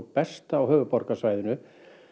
bestu á höfuðborgarsvæðinu